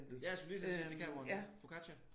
Ja jeg skulle lige til at sige Dekameron Boccaccio